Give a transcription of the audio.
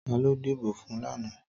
Tàló dibó fún làná